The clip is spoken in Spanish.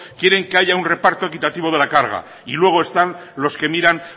quieren que haya un reparto equitativo de la carga y luego están los que miran